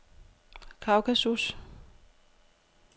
Kaukasus